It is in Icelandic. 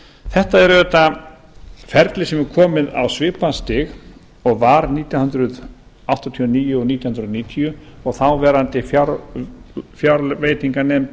þetta er auðvitað ferli sem er komið á svipað stig og var nítján hundruð áttatíu og níu og nítján hundruð níutíu og þáverandi fjárveitinganefnd